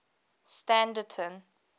standerton